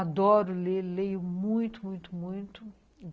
Adoro ler, leio muito, muito, muito.